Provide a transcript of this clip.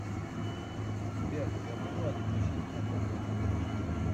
сбер я могу отключить автоплатеж